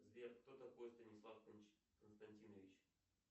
сбер кто такой станислав константинович